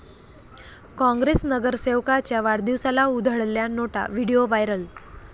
काँग्रेस नगरसेवकाच्या वाढदिवसाला उधळल्या नोटा, व्हिडिओ व्हायरल